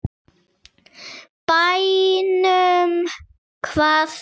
Bænum, hvaða bæ?